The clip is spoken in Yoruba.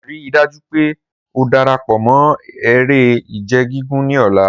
Rii daju pe o darapọ mọ ere-ije gigun ni ọla!